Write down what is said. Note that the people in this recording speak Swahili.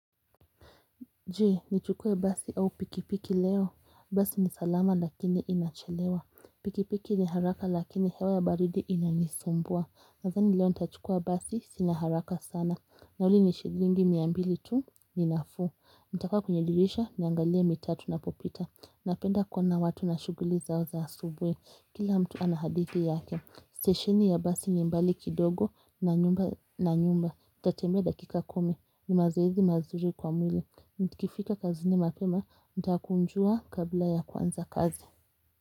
Je, ni chukue basi au pikipiki leo. Basi ni salama lakini inachelewa. Pikipiki ni haraka lakini hewa ya baridi inanisumbua. Nazani leo nitachukua basi sina haraka sana. Nauli ni shilingi mia mbili tu ni nafuu. Nitakaa kwenye dirisha niangalie mitaa tunapopita. Napenda kuona watu na shughuli zao za asubui. Kila mtu anahadithi yake. Stesheni ya basi ni mbali kidogo na nyumba na nyumba. Nitatembea dakika kumi. Ni mazoezi mazuri kwa mwili. Nikifika kazini mapema. Nitakunjua kabla ya kuanza kazi.